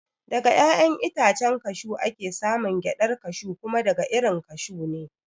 Daga ƴaƴan itacen kashew ake samun gyaɗar kashew kuma daga irin kashu ne